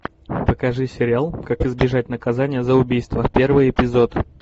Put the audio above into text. покажи сериал как избежать наказания за убийство первый эпизод